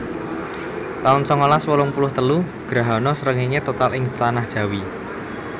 taun songolas wolung puluh telu Grahana srengéngé total ing Tanah Jawi